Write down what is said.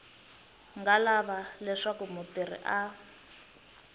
nga lava leswaku mutirhi a